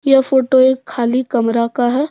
यह फोटो एक खाली कमरा का है।